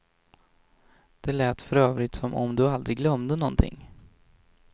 Det lät för övrigt som om du aldrig glömde någonting.